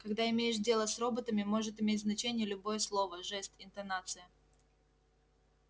когда имеешь дело с роботами может иметь значение любое слово жест интонация